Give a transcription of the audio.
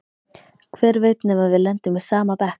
Hver veit nema við lendum í sama bekk!